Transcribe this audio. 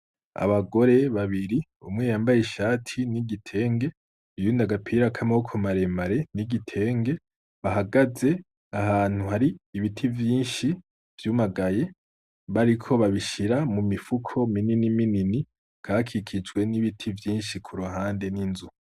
Abagore babiri, umwe yambaye ishati n'igitenge, uyundi agapira k'amaboko mare mare n'igitenge, bahagaze ahantu hari ibiti vyinshi vyumagaye bariko babishira mu mifuko minini minini hakaba hakikijwe n'ibiti vyinshi kuruhande n'inzu.